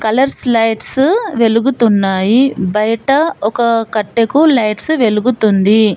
Colours lights వెలుగుతున్నాయి బయట ఒక కట్టెకు లైట్స్ వెలుగుతుంది.